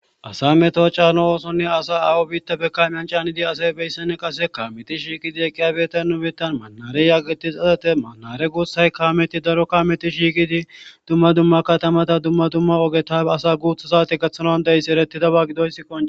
Asa meto chano oosonne asa awo biitta be kamyan caanidi asay beyssene qase kameti shiiqidi eqqiyabeeta numetan maanareyageti xasate maanare guutshay kaameti daro kameti shiiqidi dumma dumma katamata dumma dumma ogetafe asa guutha zaate gathanon deyss ereti daba gidoysi qon..